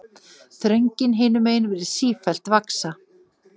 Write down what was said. Þröngin hinumegin virðist sífellt vaxa.